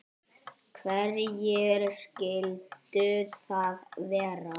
Hverjir skyldu það vera?